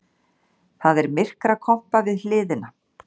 Það er myrkrakompa við hliðina.